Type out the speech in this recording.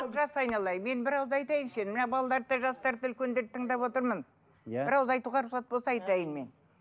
олжас айналайын мен бір ауыз айтайыншы мына балаларды да жастарды да үлкендерді тыңдап отырмын иә бір ауыз айтуға рұқсат болса айтайын мен